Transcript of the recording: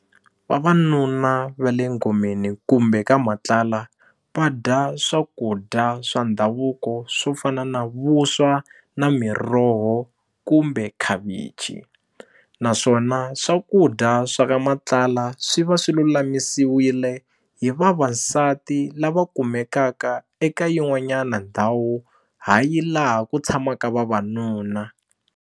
Vavanuna va le ngomeni kumbe ka matlala va dya swakudya swa ndhavuko swo fana na vuswa na miroho kumbe khavichi na swona swakudya swa ka matlala swi va swi lulamisiwile hi vavasati lava kumekaka eka yin'wanyana ndhawu hayi laha ku tshamaka vavanuna.